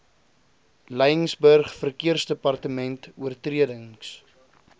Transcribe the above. laingsburg verkeersdepartement oortredings